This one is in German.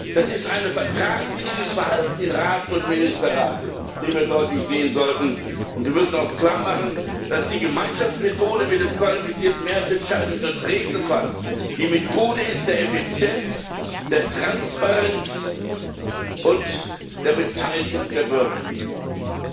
Das ist ein vertragswidriges Verhalten in Rat und Ministerrat, das wir deutlich sehen sollten. Und wir müssen auch klarmachen, dass die Gemeinschaftsmethode mit der qualifizierten Mehrheitsentscheidung als Regelfall die Methode der Effizienz, der Transparenz und der Beteiligung der Bürger ist.